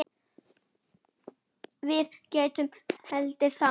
Við gátum hlegið saman.